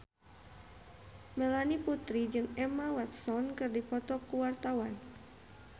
Melanie Putri jeung Emma Watson keur dipoto ku wartawan